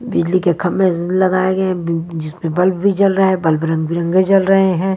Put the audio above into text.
बिजली के खंबे ज ल लगाए गए है ब जिसमें बल्ब भी जल रहा है बल्ब रंग-बिरंगी जल रहे है।